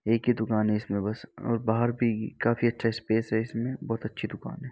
एक ही दुकान है। इसमें बस और बाहर भी काफी अच्छा स्पेस है इसमें बोहत अच्छी दुकान है।